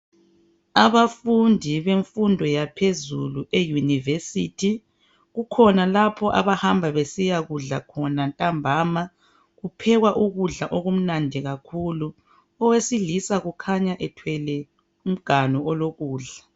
Abafundi bemfundo yaphezulu eYunivesithi kukhona lapha abahamba besiyakudlakhona ntambama. Kuphekwa ukudla okumnandi kakhulu, owesilisa ukhanya ethwele umganu olokudla.